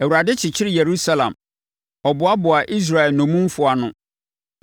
Awurade kyekyere Yerusalem; Ɔboaboa Israel nnommumfoɔ ano.